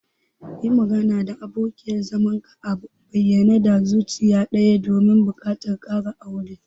Yi magana da abokiyar zamanka a bayyane da zuciya daya akan buƙatar ka na ƙarin aure.